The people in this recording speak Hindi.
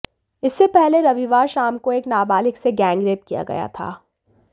इससे पहले रविवार शाम को एक नाबालिग से गैंगरेप किया गया था